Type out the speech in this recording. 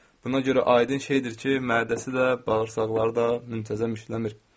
Buna görə aydın şeydir ki, mədəsi də, bağırsaqları da müntəzəm işləmir.